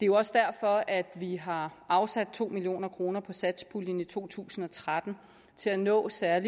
jo også derfor at vi har afsat to million kroner i satspuljen i to tusind og tretten til at nå især